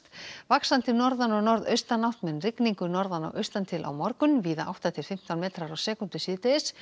vaxandi norðan og norðaustanátt með rigningu norðan og austantil á morgun víða átta til fimmtán metrar á sekúndu síðdegis